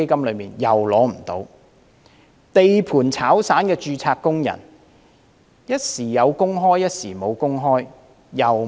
一名在地盤當散工的註冊工人，工作時有時無，亦不能受惠。